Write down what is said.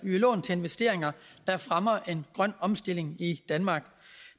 lån til investeringer der fremmer en grøn omstilling i danmark